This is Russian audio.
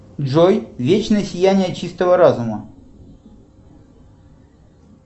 джой вечное сияние чистого разума